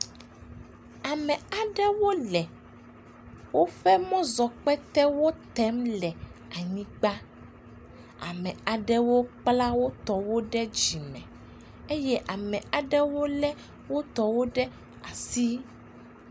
Me aɖewo le woƒe mɔzɔkpetewo tem le anyigba. Ame aɖewo kpla wotɔ wo ɖe dzime eye ame aɖewo lé wotɔ wo ɖe asi